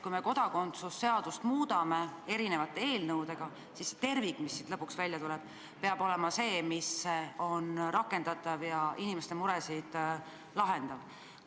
Kui me kodakondsuse seadust muudame erinevate eelnõudega, siis tervik, mis siit lõpuks välja tuleb, peab olema rakendatav ja inimeste muresid lahendav.